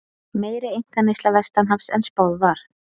Meiri einkaneysla vestanhafs en spáð var